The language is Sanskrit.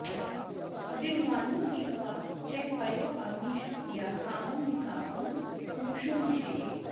लीढ्वानु पीत्वा च पयोऽग्निशक्त्या कामं निकामं पुरुषो निषेवेत्